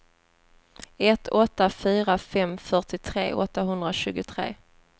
ett åtta fyra fem fyrtiotre åttahundratjugotre